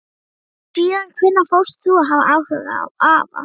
Síðan hvenær fórst þú að hafa áhuga á afa?